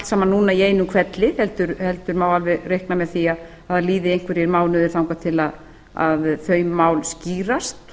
saman núna í einum hvelli heldur má alveg reikna með því að það liði einhverjir mánuðir þangað til þau máli skýrast